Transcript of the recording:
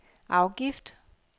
afgift